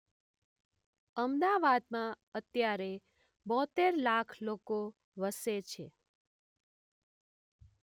અમદાવાદમાં અત્યારે બોંતેર લાખ લોકો વસે છે